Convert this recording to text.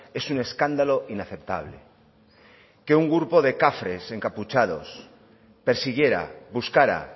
es un escándalo inaceptable que un grupo de cafres encapuchados persiguiera buscara